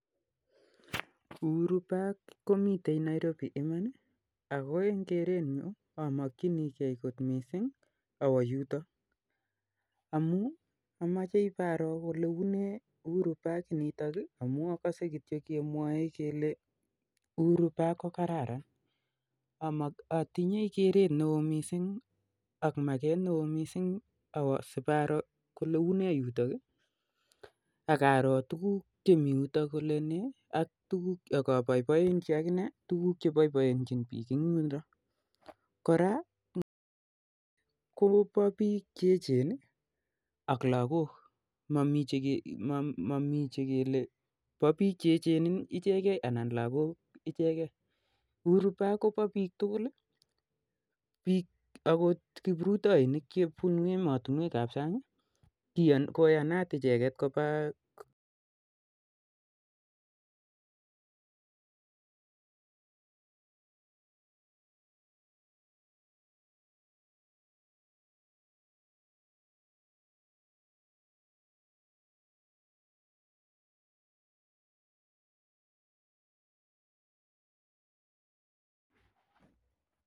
'Uhuru park'komiite Nairobi Iman Ii ako amakchikee away yutok amuu amakchikee ibaroo olee uu amuu akasei kemwoe kelen kararan yundok missing akaroo tukuk cheboiboinchin biik kouu ng olindok koraa koboo biik che ejen ak lagok ko tugul akot kipruroinik chebunu emotinwek ap sang koyanotin kobaa yutok koraa